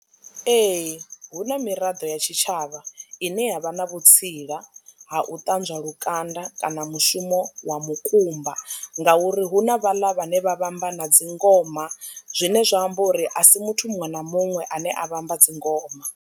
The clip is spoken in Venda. Ee, hu na miraḓo ya tshitshavha ine yavha na vhutsila ha u ṱanzwa lukanda kana mushumo wa mukumba ngauri hu na vhaḽa vhane vha vhamba na dzingoma zwine zwa amba uri a si muthu muṅwe na muṅwe ane a vhamba dzingoma.